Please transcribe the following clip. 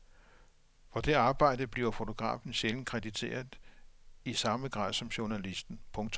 For det arbejde bliver fotografen sjældent krediteret i samme grad som journalisten. punktum